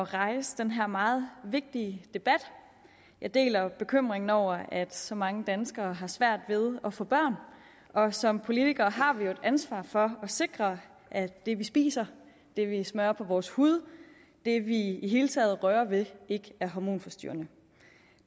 rejse den her meget vigtige debat jeg deler bekymringen over at så mange danskere har svært ved at få børn og som politikere har vi jo et ansvar for at sikre at det vi spiser det vi smører på vores hud og det vi i det hele taget rører ved ikke er hormonforstyrrende